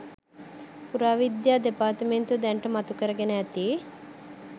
පුරාවිද්‍යා දෙපාර්තමේන්තුව දැනට මතු කරගෙන ඇති